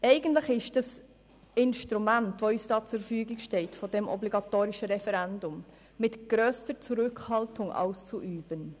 Das uns zur Verfügung stehende Instrument des obligatorischen Referendums ist eigentlich mit grösster Zurückhaltung auszuüben.